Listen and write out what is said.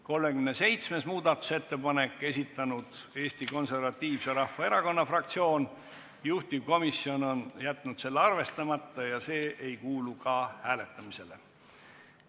37. muudatusettepaneku on esitanud Eesti Konservatiivse Rahvaerakonna fraktsioon, juhtivkomisjon on jätnud selle arvestamata ja see ei kuulu ka hääletamisele.